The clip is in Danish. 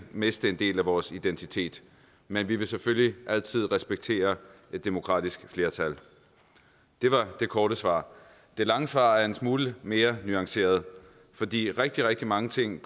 miste en del af vores identitet men vi vil selvfølgelig altid respektere et demokratisk flertal det var det korte svar det lange svar er en smule mere nuanceret fordi rigtig rigtig mange ting